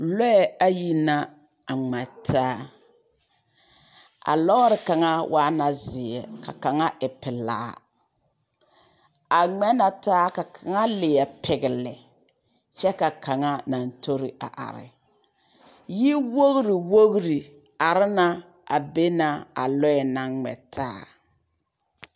Lɔɛ ayi na a ŋmɛ taa. A lɔɔre kaŋa waa na zeɛ ka kaŋa e pelaa. A ŋmɛ na ta aka kaŋ leɛ pegele, kyɛ ka kaŋa naŋ tori a are. Yiwogiri wogiri are na a be na a lɔɛ naŋ ŋmɛ taa.